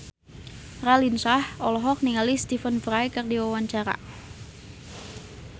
Raline Shah olohok ningali Stephen Fry keur diwawancara